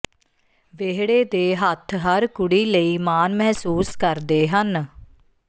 ਵਿਹੜੇ ਦੇ ਹੱਥ ਹਰ ਕੁੜੀ ਲਈ ਮਾਣ ਮਹਿਸੂਸ ਕਰਦੇ ਹਨ